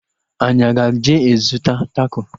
Anyị aga eje zụta tako?